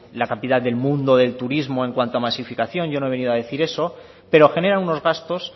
la capital del mundo del turismo en cuanto a masificación yo no he venido a decir eso pero genera unos gastos